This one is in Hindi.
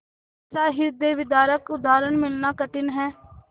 ऐसा हृदयविदारक उदाहरण मिलना कठिन है